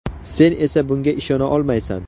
Sen esa bunga ishona olmaysan.